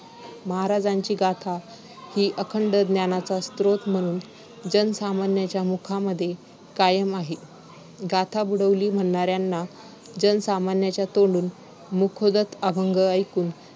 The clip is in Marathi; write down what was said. महाराजांची गाथा ही अखंड ज्ञानाचा स्रोत म्हणून जनसामान्यांच्या मुखांमध्ये कायम आहे. गाथा बुडवली म्हणणाऱ्यांना जनसामान्यांच्या तोंडून मुखोद्गत अभंग ऐकून